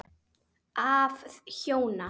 Af hjóna